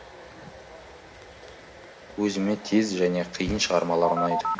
өзіме тез және қиын шығармалар ұнайды